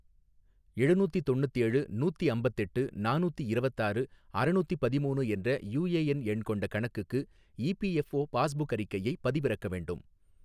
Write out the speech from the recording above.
எழுநூத்தி தொண்ணுத்தேழு நூத்தி அம்பத்தெட்டு நானூத்தி இரவத்தாறு அறநூத்தி பதிமூணு என்ற யூஏஎன் எண் கொண்ட கணக்குக்கு இபிஎஃப்ஓ பாஸ்புக் அறிக்கையை பதிவிறக்க வேண்டும்